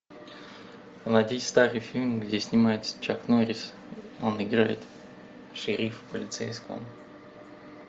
найти старый фильм где снимается чак норрис он играет шерифа полицейского